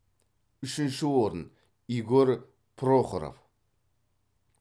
үшінші орын игорь прохоров